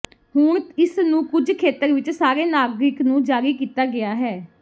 ਹੁਣ ਇਸ ਨੂੰ ਕੁਝ ਖੇਤਰ ਵਿੱਚ ਸਾਰੇ ਨਾਗਰਿਕ ਨੂੰ ਜਾਰੀ ਕੀਤਾ ਗਿਆ ਹੈ